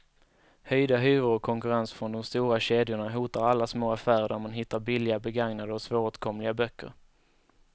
Höjda hyror och konkurrens från de stora kedjorna hotar alla små affärer där man hittar billiga, begagnade och svåråtkomliga böcker.